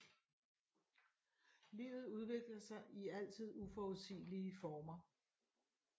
Livet udvikler sig i altid uforudsigelige former